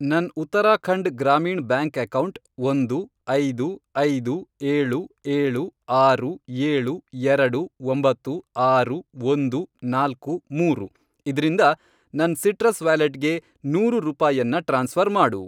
ನನ್ Uttarakhand Gramin bank account, ಒಂದು, ಐದು, ಐದು, ಏಳು, ಏಳು, ಆರು, ಏಳು, ಎರಡು, ಒಂಬತ್ತು, ಆರು, ಒಂದು, ನಾಲ್ಕು, ಮೂರು, ಇದ್ರಿಂದ ನನ್ ಸಿಟ್ರಸ್ ವ್ಯಾಲೆಟ್ಗೆ ನೂರು ರೂಪಾಯನ್ನ ಟ್ರಾನ್ಸ್ಫ಼ರ್ ಮಾಡು